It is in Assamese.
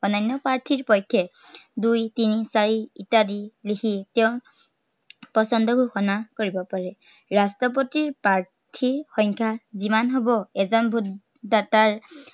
অন্য়ান্য় প্ৰাৰ্থীৰ পক্ষে দুই তিনি চাৰি ইত্য়াদি লিখি তেওঁৰ, পচন্দ ঘোষণা কৰিব পাৰে। ৰাষ্ট্ৰপতিৰ প্ৰাৰ্থীৰ সংখ্য়া যিমান হ'ব এজন vote দাতাৰ